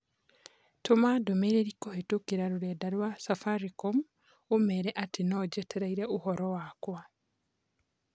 Tũma ndũmĩrĩri kũhĩtũkĩra rũrenda rũa Safaricom ũmeere atĩ nojetereire ũhoro wakwa